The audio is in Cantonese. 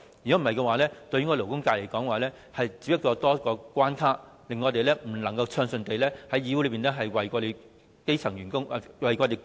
否則，勞顧會對勞工界只是增添了一個關卡，令我們不能夠暢順地在議會內為勞工議政。